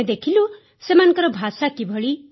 ଆମେ ଦେଖିଲୁ ସେମାନଙ୍କ ଭାଷା କିଭଳି